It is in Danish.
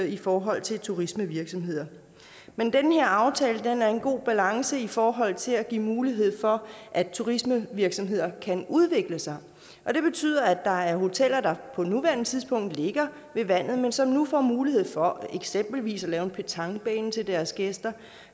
i forhold til turismevirksomheder men i den her aftale er der en god balance i forhold til at give mulighed for at turismevirksomheder kan udvikle sig og det betyder at der er hoteller der på nuværende tidspunkt ligger ved vandet men som nu får mulighed for eksempelvis at lave en petanquebane til deres gæster